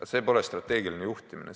Aga see pole strateegiline juhtimine.